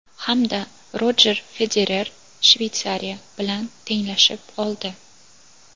hamda Rojer Federer (Shveysariya) bilan tenglashib oldi.